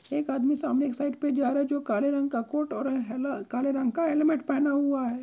एक आदमी सामने एक साइड पे जा रहा है जो काले रंग का कोट और है ना काले रंग का हेलमेट पहना हुआ है।